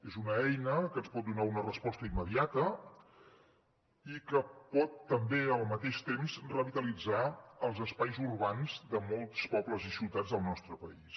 és una eina que ens pot donar una resposta immediata i que pot també al mateix temps revitalitzar els espais urbans de molts pobles i ciutats del nostre país